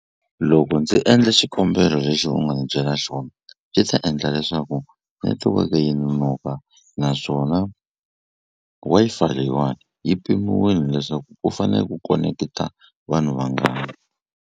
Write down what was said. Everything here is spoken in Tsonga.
Loko ndzi endla xikombelo lexi u nga ni byela xona swi ta endla leswaku netiweke yi nonoka naswona Wi-Fi leyiwani yi pimiwini leswaku ku fane ku koneketa vanhu vangani.